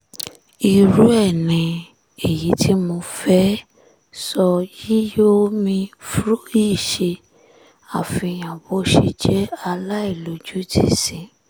irú ẹ̀ ni èyí tí mo fẹ́ẹ́ sọ yìí yo mi ṣe àfihàn bó ṣe jẹ́ aláìlójútì sí